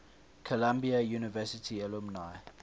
columbia university alumni